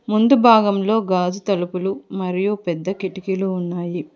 ముందు భాగంలో గాజు తలుపులు మరియు పెద్ద కిటికీలు ఉన్నాయి.